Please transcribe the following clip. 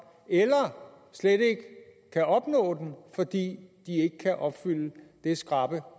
eller slet ikke kan opnå den fordi de ikke kan opfylde det skrappe